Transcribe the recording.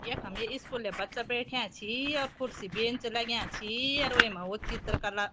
यखम ये स्कूल्या बच्चा बैठ्याँ छिं अर खुर्सी बेंच लग्यां छि अर वेमा वू चित्रकला --